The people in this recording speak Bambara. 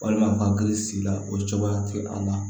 Walima u hakili sigi la o cogoya tɛ a la